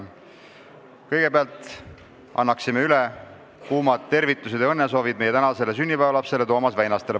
Kõigepealt anname üle kuumad tervitused ja õnnesoovid meie tänasele sünnipäevalapsele Toomas Väinastele.